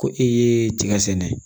Ko e ye tiga sɛnɛ